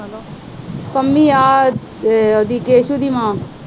ਪੰਮੀ ਆਹ ਉਹਦੀ ਕੈਸੂ ਦੀ ਮਾਂ।